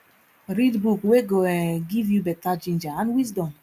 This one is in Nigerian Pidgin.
read book wey go um give yu beta ginger and wisdom